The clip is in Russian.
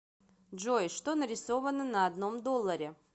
джой что нарисовано на одном долларе